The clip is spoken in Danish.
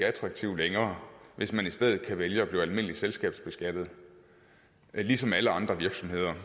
attraktiv længere hvis man i stedet kan vælge at blive almindeligt selskabsbeskattet ligesom alle andre virksomheder